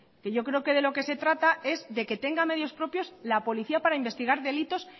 que yo creo que de lo que se trata es de que tenga medios propios la policía para investigar delitos